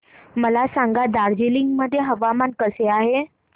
मला सांगा दार्जिलिंग मध्ये हवामान कसे आहे